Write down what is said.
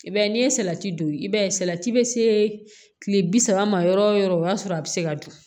I b'a ye n'i ye salati don i b'a ye salati bɛ se kile bi saba ma yɔrɔ o yɔrɔ o y'a sɔrɔ a bɛ se ka dun